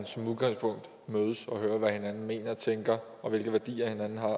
som udgangspunkt mødes og høre hvad hinanden mener og tænker og hvilke værdier hinanden har